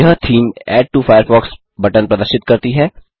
यह theme add to Firefox button प्रदर्शित करती है